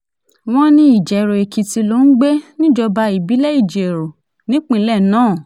wọ́n ní ìjẹ̀rọ èkìtì ló ń gbé níjọba ìbílẹ̀ ìjẹrò nípínlẹ̀ náà